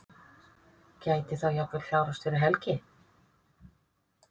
Gæti þá jafnvel klárast fyrir helgi?